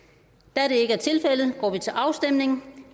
da det ikke er tilfældet går vi til afstemning